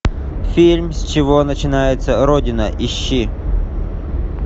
фильм с чего начинается родина ищи